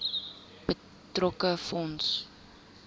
betrokke fonds